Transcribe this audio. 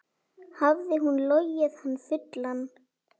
Hafði hún logið hann fullan?